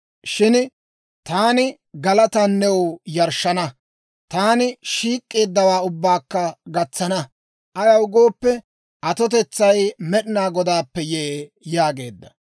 Shin taani galataana new yarshshana; taani shiik'k'eeddawaa ubbaakka gatsana. Ayaw gooppe, atotetsay Med'inaa Godaappe yee» yaageedda.